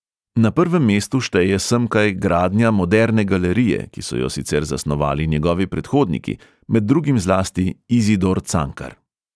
Na prvem mestu šteje semkaj gradnja moderne galerije, ki so jo sicer zasnovali njegovi predhodniki, med drugim zlasti izidor cankar.